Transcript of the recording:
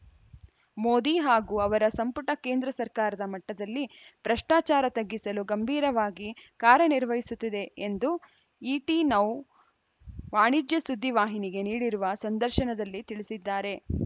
ಮೋದಿ ಹಾಗೂ ಅವರ ಸಂಪುಟ ಕೇಂದ್ರ ಸರ್ಕಾರದ ಮಟ್ಟದಲ್ಲಿ ಭ್ರಷ್ಟಾಚಾರ ತಗ್ಗಿಸಲು ಗಂಭೀರವಾಗಿ ಕಾರ್ಯನಿರ್ವಹಿಸುತ್ತಿದೆ ಎಂದು ಇಟಿ ನೌ ವಾಣಿಜ್ಯ ಸುದ್ದಿವಾಹಿನಿಗೆ ನೀಡಿರುವ ಸಂದರ್ಶನದಲ್ಲಿ ತಿಳಿಸಿದ್ದಾರೆ